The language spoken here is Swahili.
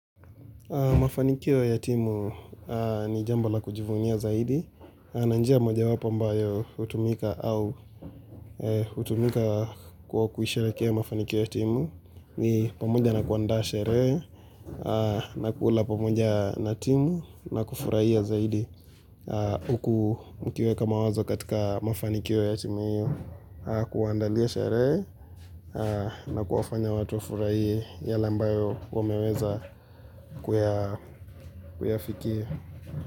Mafanikio ya timu ni jambo la kujivunia zaidi. Na njia moja wapo ambayo hutumika au hutumika kwa kuisherekia mafanikio ya timu. Ni pamoja na kuandaa sherehe na kula pamoja na timu na kufurahia zaidi huku nikiweka mawazo katika mafanikio ya timu hiyo. Kuwaandalia sherehe na kuwafanya watu furahie yale mbayo wameweza kuyafikia.